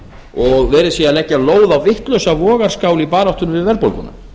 og verið sé að leggja lóð á vitlausa vogarskál í baráttunni við verðbólguna